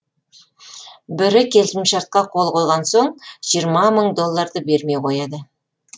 бірі келісімшартқа қол қойған соң жиырма мың долларды бермей қояды